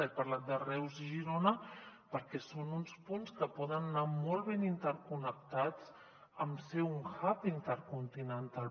he par·lat de reus i girona perquè són uns punts que poden anar molt ben interconnectats amb ser un hub intercontinental